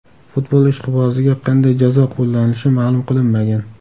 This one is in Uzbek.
Futbol ishqiboziga qanday jazo qo‘llanilishi ma’lum qilinmagan.